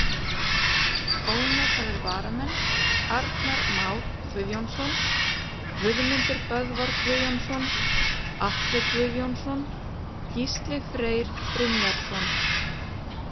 Ónotaðir varamenn: Arnar Már Guðjónsson, Guðmundur Böðvar Guðjónsson, Atli Guðjónsson, Gísli Freyr Brynjarsson.